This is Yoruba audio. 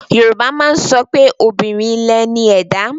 Yorùbá má ń sọpé, obìnrin lẹ ní ẹ̀dá.